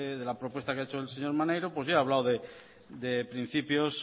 de la propuesta que ha hecho el señor maneiro pues he hablado de principios